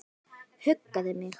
Huggaði mig.